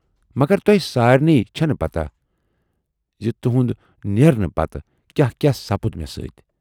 مگر تۅہہِ سارِنٕے چھَنہٕ پَتاہ زِ تُہٕندِ نیرنہٕ پَتہٕ کیاہ کیاہ سَپُد مےٚ سۭتۍ۔